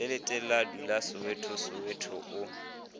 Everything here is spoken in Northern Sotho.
letelele a dulasoweto soweto o